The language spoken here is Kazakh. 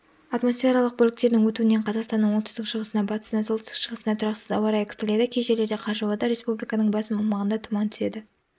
атмосфералық бөліктердің өтуінен қазақстанның оңтүстік-шығысында батысында солтүстік шығысында тұрақсыз ауа райы күтіледі кей жерлерде қар жауады республиканың басым аумағында түман түседі